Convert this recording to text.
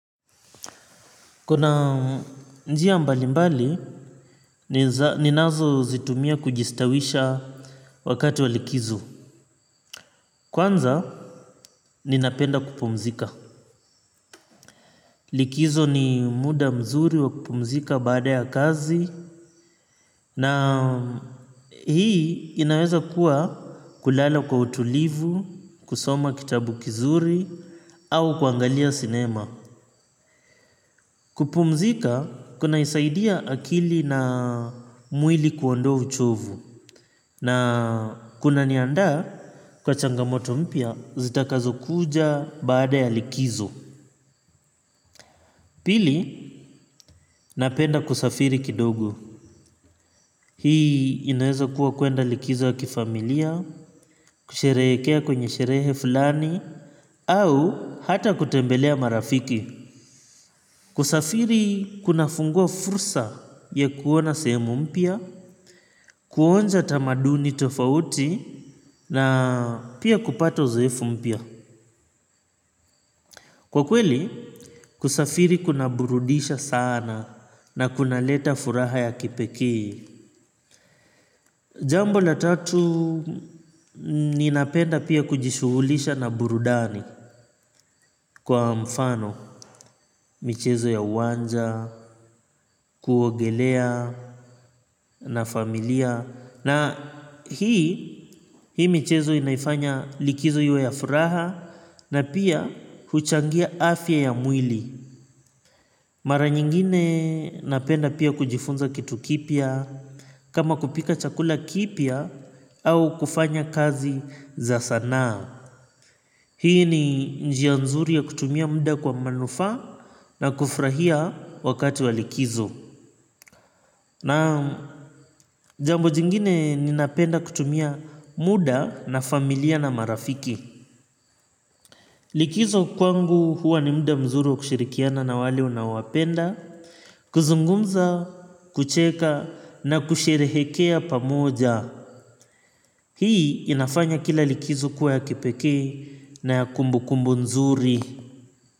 Kuna njia mbalimbali, ninazozitumia kujistawisha wakati wa likizo. Kwanza, ninapenda kupumzika. Likizo ni muda mzuri wa kupumzika baada ya kazi. Na hii inaweza kuwa kulala kwa utulivu, kusoma kitabu kizuri, au kuangalia sinema. Kupumzika, kunaisaidia akili na mwili kuondoa uchovu. Na kuna niandaa kwa changamoto mpya zitakazokuja baada ya likizo. Pili napenda kusafiri kidogo. Hii inaweza kuwa kuenda likizo ya kifamilia. Kusherehekea kwenye sherehe fulani au hata kutembelea marafiki. Kusafiri kuna fungua fursa ya kuona sehemu mpya. Kuonja tamaduni tofauti na pia kupata uzoefu mpya. Kwa kweli, kusafiri kuna burudisha sana na kunaleta furaha ya kipekee. Jambo la tatu, ninapenda pia kujishughulisha na burudani kwa mfano. Michezo ya uwanja, kuogelea na familia. Na hii, hii michezo inaifanya likizo iwe ya furaha na pia huchangia afya ya mwili. Mara nyingine napenda pia kujifunza kitu kipya, kama kupika chakula kipya au kufanya kazi za sanaa. Hii ni njia nzuri ya kutumia muda kwa manufaa na kufurahia wakati wa likizo. Naam jambo jingine ninapenda kutumia muda na familia na marafiki. Likizo kwangu huwa ni muda mzuri wa kushirikiana na wale unaowapenda, kuzungumza, kucheka na kusherehekea pamoja. Hii inafanya kila likizo kuwa ya kipekee na ya kumbukumbu nzuri.